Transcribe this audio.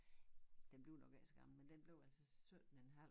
Den blev nok ikke så gammel men den blev altså 17 en halv